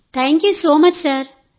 thank you so much sir